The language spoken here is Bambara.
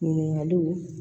Ɲininkaliw